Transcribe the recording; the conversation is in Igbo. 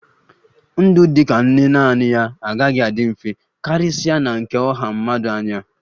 Ndụ dị ka nne naanị ya agaghị adị mfe, karịsịa na nke ọha mmadụ anyị a